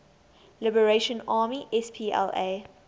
liberation army spla